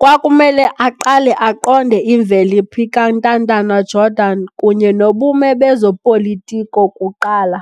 kwakumele aqale aqonde imvelaphi kaNtantala-Jordan kunye nobume bezobupolitiko kuqala.